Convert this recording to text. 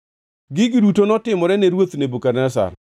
Gigi duto notimore ne ruoth Nebukadneza.